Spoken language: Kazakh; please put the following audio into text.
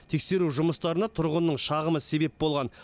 тексеру жұмыстарына тұрғынның шағымы себеп болған